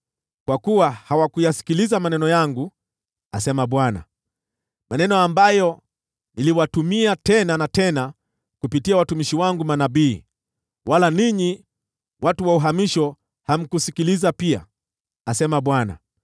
Kwa kuwa hawakuyasikiliza maneno yangu,” asema Bwana , “maneno ambayo niliwatumia tena na tena kupitia watumishi wangu manabii. Wala ninyi watu wa uhamisho hamkusikiliza pia,” asema Bwana .